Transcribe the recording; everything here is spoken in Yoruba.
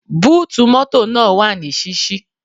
Búùtù mọ́tọ̀ náà wà ní ṣíṣí.